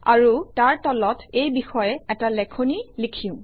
আৰু তাৰ তলত এই বিষয়ে এটা লেখনি লিখিম